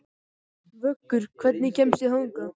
Vöggur, hvernig kemst ég þangað?